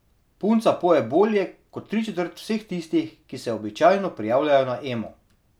Punca poje bolje kot tri četrt vseh tistih, ki se običajno prijavljajo na Emo.